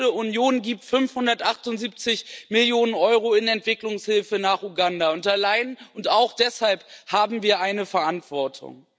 Europäische Union gibt 578 Millionen EUR an Entwicklungshilfe für Uganda, und auch deshalb haben wir eine Verantwortung.